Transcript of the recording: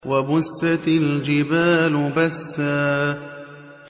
وَبُسَّتِ الْجِبَالُ بَسًّا